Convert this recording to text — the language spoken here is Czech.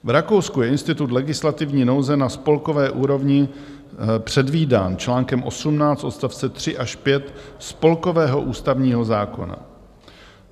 V Rakousku je institut legislativní nouze na spolkové úrovni předvídán článkem 18 odstavce 3 až 5 spolkového ústavního zákona.